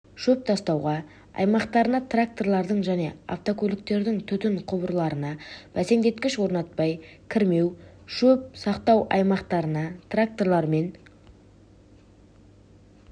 шөп сақтау аймақтарына тракторлардың және автокөліктердің түтін құбырларына бәсендеткіш орнатпай кірмеу шөп сақтау аймақтарына тракторлар мен